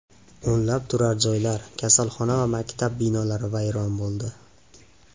O‘nlab turar joylar, kasalxona va maktab binolari vayron bo‘ldi.